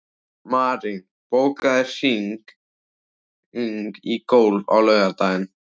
Marín, bókaðu hring í golf á laugardaginn.